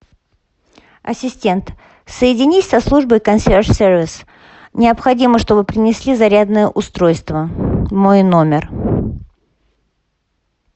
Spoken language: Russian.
ассистент соединись со службой консьерж сервис необходимо чтобы принесли зарядное устройство в мой номер